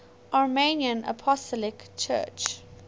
armenian apostolic church